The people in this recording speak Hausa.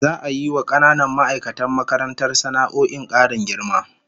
Za'a yi wa kananan ma'aikatan makarantar sana'o'in karin girma